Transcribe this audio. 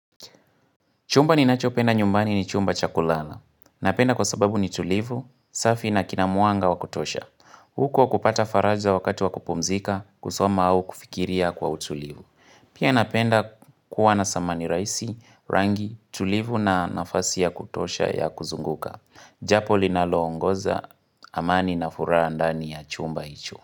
Chumba ninachopenda nyumbani ni chumba cha kulala. Napenda kwa sababu ni tulivu, safi na kinamwanga wakutosha. Huko kupata faraja wakati wakupumzika, kusoma au kufikiria kwa utulivu. Pia napenda kuwa nasamani rahisi, rangi, tulivu na nafasi ya kutosha ya kuzunguka. Jambo linalongoza, amani na furaha ndani ya chumba hicho.